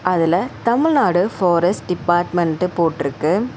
அதுல Tamil Nadu forest department போட்ருக்கு.